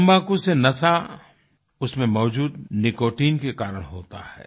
तम्बाकू से नशा उसमें मौजूद निकोटाइन के कारण होता है